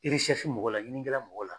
mɔgɔw la ɲinininkɛla mɔgɔw la.